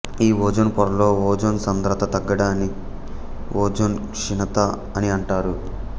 ఈ ఓజోన్ పొరలో ఓజోన్ సాంద్రత తగ్గడాన్ని ఓజోన్ క్షీణత అని అంటారు